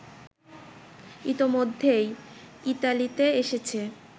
ইতোমধ্যেই ইতালিতে এসেছে